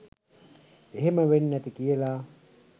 එහෙම වෙන්නැති කියලා